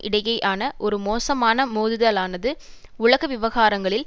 இடையேயான ஒரு மோசமான மோதுதலானது உலக விவகாரங்களில்